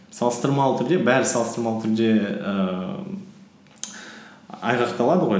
салыстырмалы түрде бәрі салыстырмалы түрде ііі айғақталады ғой